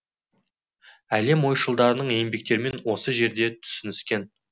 әлем ойшылдарының еңбектерімен осы жерде түсініскен